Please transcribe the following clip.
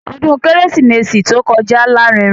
Ọdún kérésìmesì tí ó kọjá lárinrin.